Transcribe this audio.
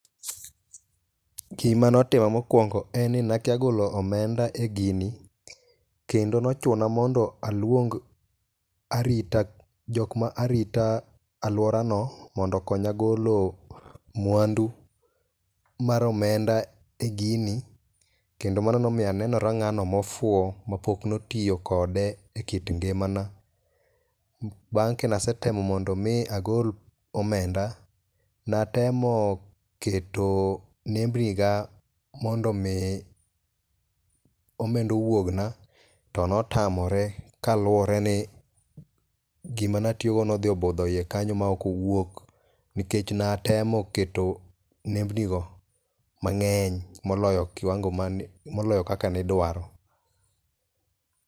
gima notima mokuongo en ni nakia golo omenda e gini kendo nochuna mondo aluong arita aluorano mondo okonya golo mwandu mar omenda e gino, kendo mano nomiyo aneno ng'ama ofuwo mapok otiyo kode e kit ngimana, bang kane setemo mondo mi agol omenda natemo keto nembni ga mondo mi omenda owuogna to notamore kaluwore ni gima natiyo go nodhi obudho iye kanyo ma ok owuok nikech natemo keto nembni go mang'eny moloyo kaka ne idwaro